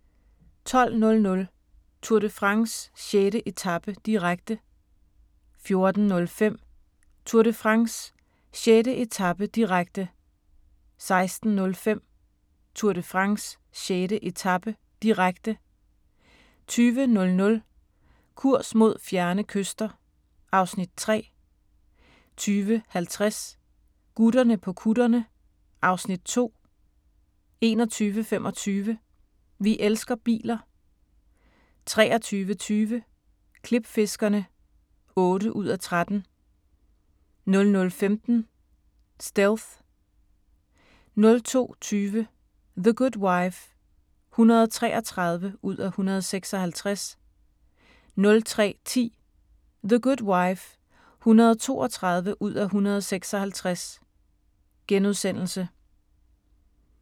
12:00: Tour de France: 6. etape, direkte 14:05: Tour de France: 6. etape, direkte 16:05: Tour de France: 6. etape, direkte 20:00: Kurs mod fjerne kyster (Afs. 3) 20:50: Gutterne på kutterne (Afs. 2) 21:25: Vi elsker biler 23:20: Klipfiskerne (8:13) 00:15: Stealth 02:20: The Good Wife (133:156) 03:10: The Good Wife (132:156)*